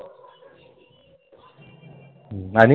आणि